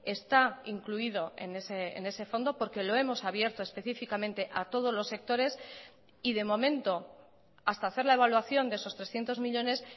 está incluido en ese fondo porque lo hemos abierto específicamente a todos los sectores y de momento hasta hacer la evaluación de esos trescientos millónes